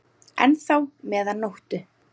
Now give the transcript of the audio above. enn þá meðan nóttu